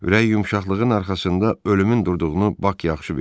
Ürək yumşaqlığının arxasında ölümün durduğunu Bak yaxşı bilirdi.